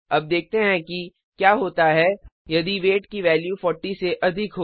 अब देखते हैं कि क्या होता है यदि वेट की वैल्यू 40 से अधिक हो